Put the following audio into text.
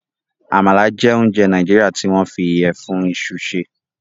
Àmala jẹ́ ounjẹ Nàìjíríà tí wọ́n fi ìyẹ̀fun iṣu ṣe.